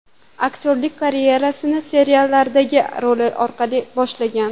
Aktyorlik karyerasini seriallardagi rollari orqali boshlagan.